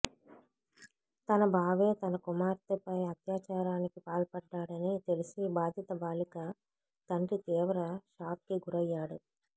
తన బావే తన కుమార్తెపై అత్యాచారానికి పాల్పడ్డాడని తెలిసి బాధిత బాలిక తండ్రి తీవ్ర షాక్కి గురయ్యాడు